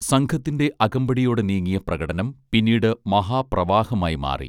സംഘത്തിന്റെ അകമ്പടിയോടെ നീങ്ങിയ പ്രകടനം പിന്നീട് മഹാ പ്രവാഹമായി മാറി